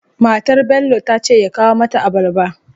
Matar Bello tace ya kawo mata abarba